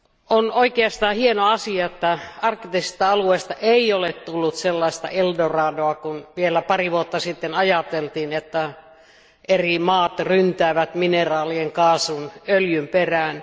On oikeastaan hieno asia, että arktisesta alueesta ei ole tullut sellaista Eldoradoa kuin vielä pari vuotta sitten ajateltiin, että eri maat ryntäävät mineraalien, kaasun ja öljyn perään.